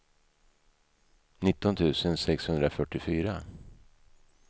nitton tusen sexhundrafyrtiofyra